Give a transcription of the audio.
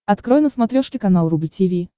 открой на смотрешке канал рубль ти ви